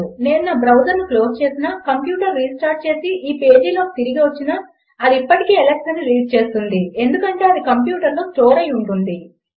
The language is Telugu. నేను నా బ్రౌజర్ను క్లోజ్ చేసినా కంప్యూటర్ రిస్టార్ట్ చేసి ఈ పేజ్లోకి తిరిగి వచ్చినా అది అప్పటికీ అలెక్స్ అని రీడ్ చేస్తుంది ఎందుకంటే అది కంప్యూటర్లోకి స్టోర్ అయి ఉంది